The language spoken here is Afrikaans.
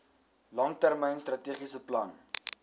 langtermyn strategiese plan